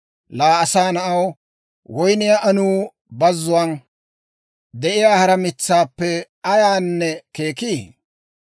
«Laa asaa na'aw, woyniyaa anuu bazzuwaan de'iyaa hara mitsaappe ayaayaani keeki?